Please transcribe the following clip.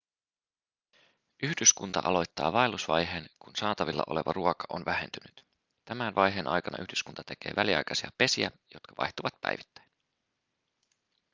yhdyskunta aloittaa vaellusvaiheen kun saatavilla oleva ruoka on vähentynyt tämän vaiheen aikana yhdyskunta tekee väliaikaisia pesiä jotka vaihtuvat päivittäin